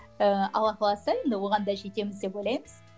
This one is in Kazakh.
ііі алла қаласа енді оған да жетеміз деп ойлаймыз